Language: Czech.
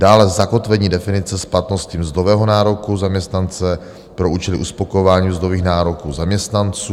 Dále zakotvení definice splatnosti mzdového nároku zaměstnance pro účely uspokojování mzdových nároků zaměstnanců.